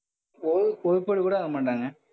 ஓ~ ஒருத்தர் கூட வர மாட்டாங்க.